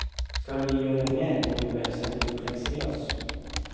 Skal vi gjøre mer, må vi vel sette opp plexiglass.